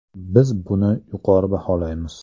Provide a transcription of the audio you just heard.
Biz buni yuqori baholaymiz.